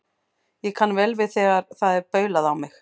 Ég kann vel við það þegar það er baulað á mig.